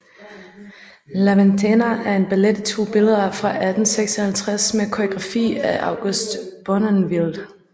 La Ventana er en ballet i to billeder fra 1856 med koreografi af August Bournonville